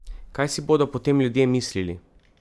Kaj si bodo potem ljudje mislili?